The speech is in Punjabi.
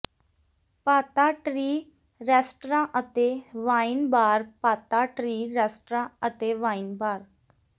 ਪਾਤਾ ਟ੍ਰੀ ਰੈਸਟਰਾਂ ਅਤੇ ਵਾਈਨ ਬਾਰ ਪਾਤਾ ਟ੍ਰੀ ਰੈਸਟਰਾਂ ਅਤੇ ਵਾਈਨ ਬਾਰ